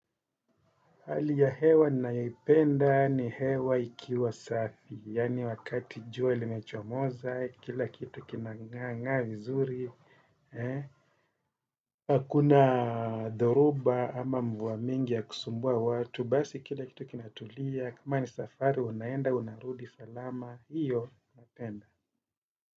Hali ya hewa ninayoipenda ni hewa ikiwa safi, yaani wakati jua limechomoza, kila kitu kinang'aang'aa vizuri. Hakuna dhoruba ama mvua mingi ya kusumbua watu, basi kila kitu kinatulia, kama ni safari, unaenda, unarudi, salama. Hiyo, napenda.